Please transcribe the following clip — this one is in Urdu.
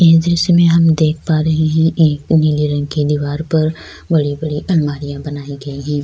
اس درشے میں ہم دیکھ پا رہے ہیں ایک نیلے رنگ کی دیوار پر بڑی بڑی الماریاں بنائی گئی ہیں-